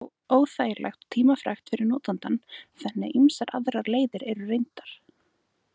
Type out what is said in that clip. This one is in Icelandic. Þetta er þó óþægilegt og tímafrekt fyrir notandann, þannig að ýmsar aðrar leiðir eru reyndar.